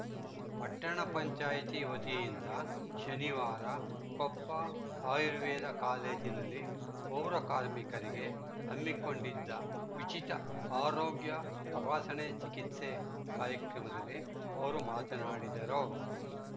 ಪಟ್ಟಣ ಪಂಚಾಯಿತಿ ವತಿಯಿಂದ ಶನಿವಾರ ಕೊಪ್ಪ ಆಯುರ್ವೇದ ಕಾಲೇಜಿನಲ್ಲಿ ಪೌರ ಕಾರ್ಮಿಕರಿಗೆ ಹಮ್ಮಿಕೊಂಡಿದ್ದ ಉಚಿತ ಆರೋಗ್ಯ ತಪಾಸಣೆ ಚಿಕಿತ್ಸೆ ಕಾರ್ಯಕ್ರಮದಲ್ಲಿ ಅವರು ಮಾತನಾಡಿದರು